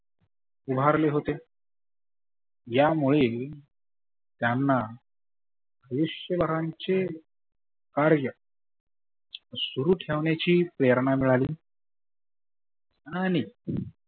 उभारले होते. या मुळे त्यांना वृशभरांचे कार्य सुरु ठेवण्याची प्रेरणा मिळाली. आणि